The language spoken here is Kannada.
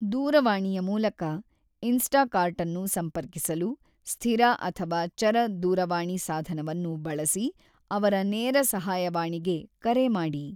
ದೂರವಾಣಿಯ ಮೂಲಕ ಇನ್ಸ್ಟಾಕಾರ್ಟನ್ನು ಸಂಪರ್ಕಿಸಲು, ಸ್ಥಿರ ಅಥವಾ ಚರ ದೂರವಾಣಿ ಸಾಧನವನ್ನು ಬಳಸಿ ಅವರ ನೇರ ಸಹಾಯವಾಣಿಗೆ ಕರೆ ಮಾಡಿ.